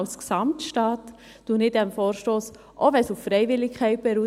Ich stimme dem Vorstoss zu, auch wenn er auf Freiwilligkeit beruht.